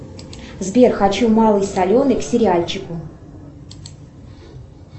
сбер хочу малый соленый к сериальчику